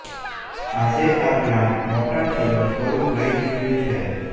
આજે આ પ્લાન્ટ મોટા છોડનું સ્વરૂપ લઇ ચૂક્યું છે